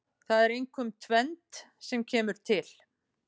Það er einkum tvennt sem kemur til.